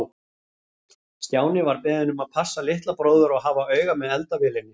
Stjáni var beðinn um að passa litla bróður og hafa auga með eldavélinni.